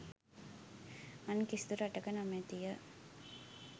අන් කිසිදු රටක නොමැති ය.